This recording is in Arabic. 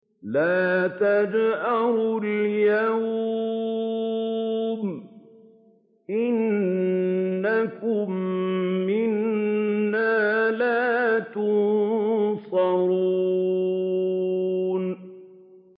لَا تَجْأَرُوا الْيَوْمَ ۖ إِنَّكُم مِّنَّا لَا تُنصَرُونَ